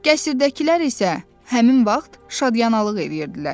Qəsrdəkilər isə həmin vaxt şadyanalıq eləyirdilər.